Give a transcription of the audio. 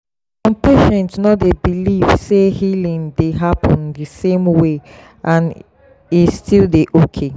some patients no dey believe say healing dey happen the same way and e still dey okay.